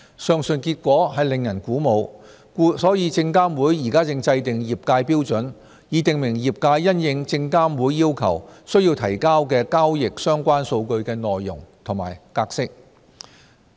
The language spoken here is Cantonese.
上述結果令人鼓舞，故證監會現正制訂業界標準，以訂明業界因應證監會要求須提交的交易相關數據的內容及格式。